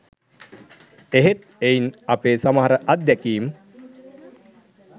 එහෙත් එයින් අපේ සමහර අත්දෑකීම්